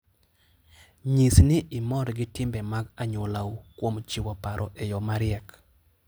Nyis ni imor gi timbe mag anyuolau kuom chiwo paro e yo mariek.